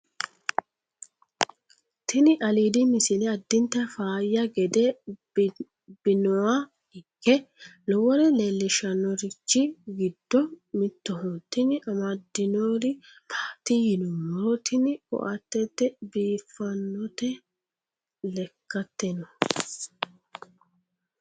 tini alidi misile adinta faayya gede binoa ike lowore leellishannorichi giddo mitoho tini amaddinori maati yinummoro tini koatete biiffannote lekkateno